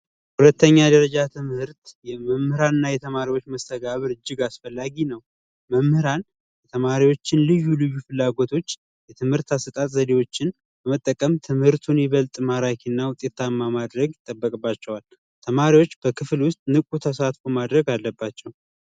ሁለተኛ ደረጃ ትምህርት የመምህራን እና የተማሪዎች መስተጋብር እጅግ አስፈላጊ ነው። መምህራን የተማሪዎችን ልዩ ልዩ ፍላጎቶች የትምህርት አሰጣጥ ዘዴዎችን መጠቀም ትምህርቱን ይበልጥ ማራኪ እና ውጤታማ ማድረግ ይጠበቅባቸዋል። ተማሪዎች በክፍል ውስጥ ንቁ ተሳትፎ ማድረግ አለባቸው።